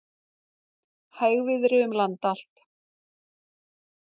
Hægviðri um land allt